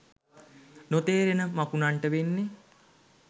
නොතේරෙන මකුණන්ට වෙන්නෙ